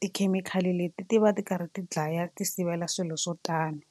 tikhemikhali leti ti va ti karhi ti dlaya ti sivela swilo swo tani.